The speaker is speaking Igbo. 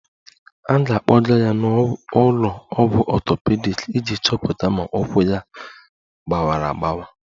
A ga-akpọga ya n'ụlọ ọgwụ ọtọpedic iji chọpụta ma ụkwụ ya gbawara agbawa